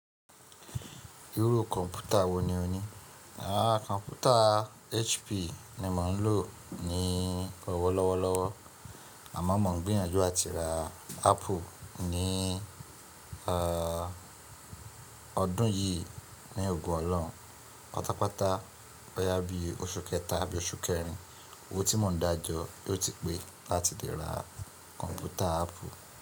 Irú kọ̀npútà wò ní o ní? Aá kọ̀npútà HP ni mò ń lò ní ọ̀wọ̀lọ́wọ́lọ́wọ́. Àmọ́ mò ń gbìyànjú láti ra Apple ní ọdún yìí ní ogo ọ̀lọhun. Patàpàtà bóyá bí oṣù kẹta àbí oṣù kẹrin. Owó tí mò ń dájọ́ yóò ti pé láti dẹ̀ ra kọ̀npútà Apple.